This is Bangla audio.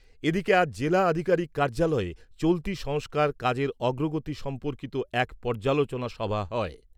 এদিকে, আজ জেলা আধিকারিক কার্যালয়ে চলতি সংস্কার কাজের অগ্রগতি সম্পর্কিত এক পর্যালোচনা সভা হয়।